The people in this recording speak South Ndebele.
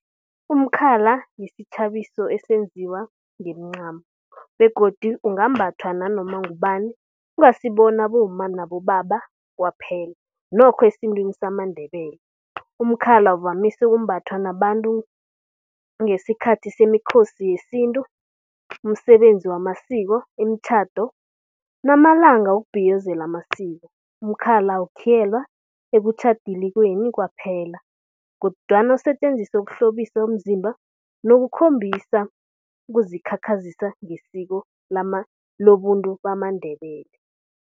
Umkhala yisitjhabiso esenziwa ngemincamo begodu ungambhathwa nanoma ngubani kungasi abomma nabobaba kwaphela nokho esintwini samaNdebele. Umkhala uvamise ukumbathwa nababantu ngesikhathi semiKhosi yesintu, umsebenzi wamasiko, imitjhado namalanga wokubhiyozela amasiko. Umkhala uwukhiyelwa ekutjhadelweni kwaphela kodwana usetjenziswe ukuhlobisa umzimba nokukhombisa nokuzikhakhazisa ngesiko lobuntu bamaNdebele.